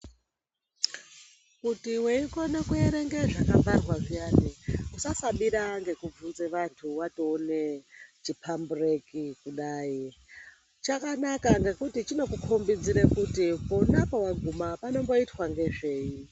Kuti weikone kuerenge zvakabharwa zviyani usasabira ngekubvunze vanthu watoone chiphambureki kudai chakanaka ngekuti chinokukhombidze kuti pona powaguma panomboitwa ngezvei.